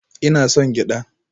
Ina son cin gyada